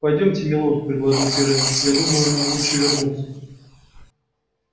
пойдёмте милорд предложил пиренн я думаю нам лучше вернуться